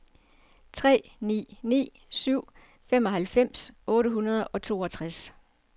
tre ni ni syv femoghalvfems otte hundrede og toogtres